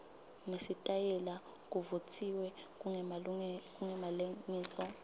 nesitayela kuvutsiwe kungemalengiso